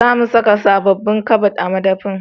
Za mu saka sabobbin kabad a madafi